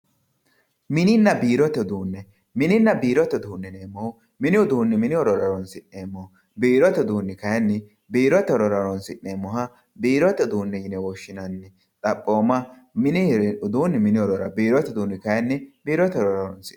Mininna biirote uduunne. Mininna biirote uduunne yineemmohu mini horora horonsi'nemmoho biirote uduunni kaayiinni biirote horora horonsi'nemmoha biirote uduunne yine woshshinanni. Xaphooma mini uduunni mini horora biirote uduunni kaayiinni biirote horora horonsi'nanni.